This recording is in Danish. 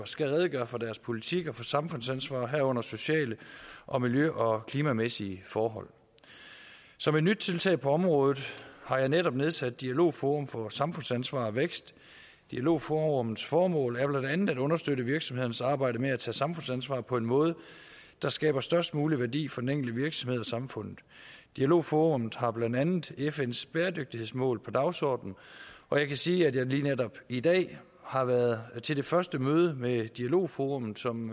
skal redegøre for deres politik og for samfundsansvar herunder sociale og miljø og klimamæssige forhold som et nyt tiltag på området har jeg netop nedsat et dialogforum for samfundsansvar og vækst dialogforummets formål er blandt andet at understøtte virksomhedernes arbejde med at tage samfundsansvar på en måde der skaber størst mulig værdi for den enkelte virksomhed og samfundet dialogforummet har blandt andet fns bæredygtighedsmål på dagsordenen og jeg kan sige at jeg lige netop i dag har været til det første møde med dialogforummet som